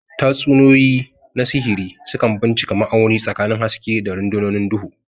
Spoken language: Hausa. Tatsuniyoyi na sihiri sukan bincika ma'auni tsakanin haske da rundunonin duhu.